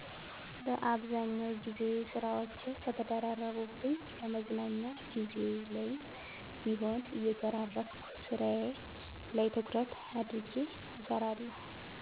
በአብዛኛው ግዜ ስራወች ከተደራረቡብኝ ከመዝናኛ ግዜየ ላይም ቢሆን እየሸራረፍኩ ስራየ ላይ ትኩረት አድርጌ እሰራለሁ።